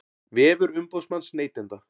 Vefur umboðsmanns neytenda